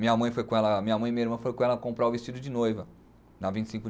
Minha mãe foi com ela, minha mãe e minha irmã foram com ela comprar o vestido de noiva. Na vinte e cinco de